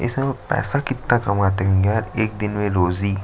इसमें पैसा कितना कमाते होते होंगे यार एक दिन में रोज़ी--